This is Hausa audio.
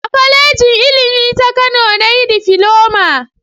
A kwalejin Ilimi ta Kano na yi difiloma